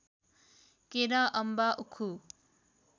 केरा अम्बा उखु